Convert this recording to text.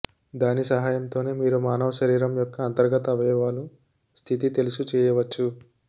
దాని సహాయంతో మీరు మానవ శరీరం యొక్క అంతర్గత అవయవాలు స్థితి తెలుసు చేయవచ్చు